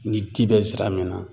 Ni di bɛ zira min na